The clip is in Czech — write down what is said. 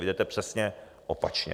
Vy jdete přesně opačně.